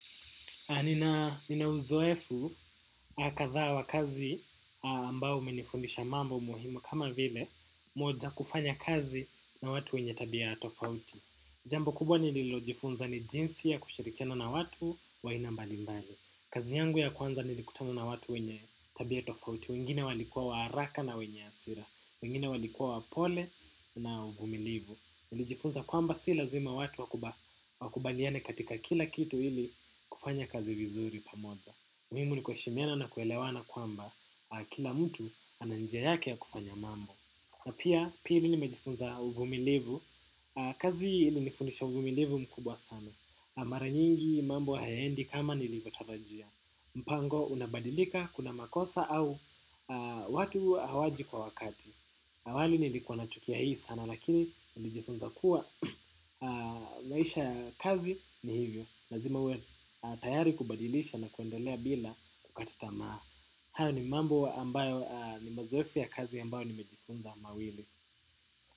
Nina uzoefu kadhaa wa kazi ambao umenifundisha mambo muhimu kama vile moja kufanya kazi na watu wenye tabia tofauti. Jambo kubwa nililojifunza ni jinsi ya kushirikiana na watu wa aina mbalimbali kazi yangu ya kwanza nilikutana na watu wenye tabia tofauti wengine walikuwa wa haraka na wenye hasira wengine walikuwa wapole na uvumilivu nilijifunza kwamba si lazima watu wakubaliane katika kila kitu ili kufanya kazi vizuri pamoja. Muhimu ni kuheshimiana na kuelewana kwamba kila mtu ana njia yake ya kufanya mambo. Na pia pili nimejifunza uvumilivu. Kazi ilinifundisha uvumilivu mkubwa sana. Mara nyingi mambo hayaendi kama nilivyotarajia. Mpango unabadilika kuna makosa au watu hawaji kwa wakati. Awali nilikuwa nachukia hii sana lakini nilijifunza kuwa maisha ya kazi ni hivyo lazima uwe tayari kubadilisha na kuendelea bila kukata tamaa. Hayo ni mambo ambayo ni mazoefu ya kazi ambayo nimejifunza mawili.